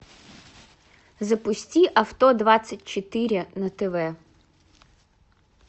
запусти авто двадцать четыре на тв